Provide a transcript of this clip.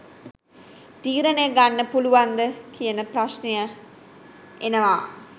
තීරණය ගන්න පුලුවන්ද කියන ප්‍රශ්නය එනවා.